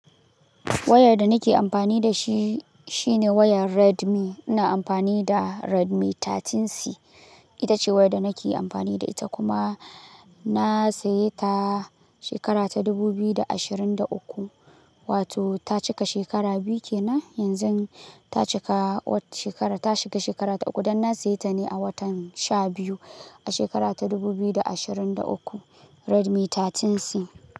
Wayar da nake amfani da shi shine wayar Redmi. Ina amfani da Redmi 13C. Ita ce wayar da nake amfani da ita kuma na saya ta shekara ta dubu biyu da ashirin da uku, wato ta cika shekara biyu kenan. Yanzu ta cika shekara, ta shiga shekara ta uku. Dan na saya ta ne a watan sha biyu a shekara ta dubu biyu da ashirin da uku. Redmi 13C.